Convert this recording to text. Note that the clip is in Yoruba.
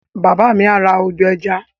Bàbá mi á ra ọdọ̀-ẹja